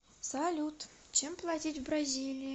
салют чем платить в бразилии